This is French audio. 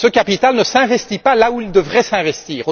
Ce capital ne s'investit pas là où il devrait s'investir.